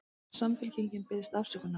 Samfylkingin biðst afsökunar